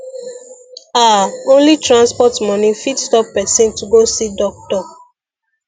ah only transport money fit stop person to go see doctor